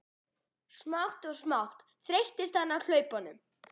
Smátt og smátt þreyttist hann á hlaupunum.